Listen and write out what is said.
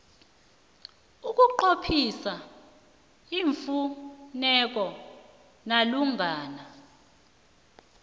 ukunqophisa iimfuneko malungana